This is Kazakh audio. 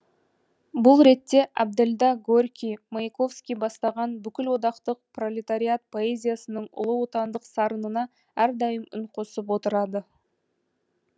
бұл ретте әбділда горький маяковский бастаған бүкілодақтық пролетариат поэзиясының ұлы отандық сарынына әрдайым үн қосып отырады